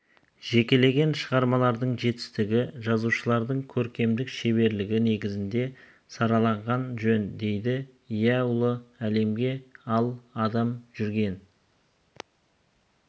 жекелеген шығармалардың жетістігі жазушылардың көркемдік шеберлігі негізінде сараланған жөн дейді иә ұлы әңгіме ал адам жүрген